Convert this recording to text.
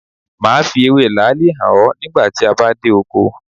Máa fi ewé làálì hàn ọ nígbà tí a bá dé oko.